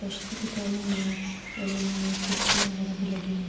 کشتی بھی ٹھہری ہوئی ہے اور انمے کرسیا وگیرہ بھی لگی ہوئی ہے۔